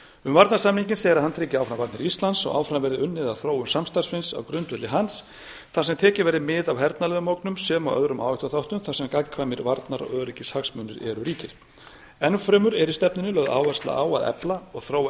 um varnarsamninginn segir að hann tryggi áfram varnir íslands og áfram verði unnið að þróun samstarfsins á grundvelli hans þar sem tekið verði mið af hernaðarlegum ógnum sem og öðrum áhættuþáttum þar sem gagnkvæmir varnar og öryggishagsmunir eru ríkir enn fremur er í stefnunni lögð áhersla á að efla og þróa